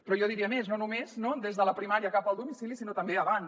però jo diria més no només des de la primària cap al domicili sinó també abans